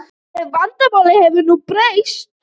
Ef vindáttin hefði nú breyst.